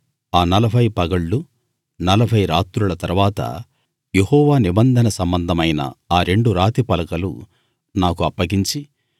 ఆ నలభై పగళ్లు నలభై రాత్రుల తరువాత యెహోవా నిబంధన సంబంధమైన ఆ రెండు రాతి పలకలు నాకు అప్పగించి